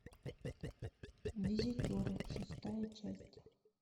визитеры шестая часть